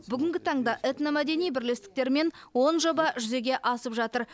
бүгінгі таңда этномәдени бірлестіктермен он жоба жүзеге асып жатыр